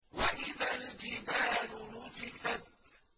وَإِذَا الْجِبَالُ نُسِفَتْ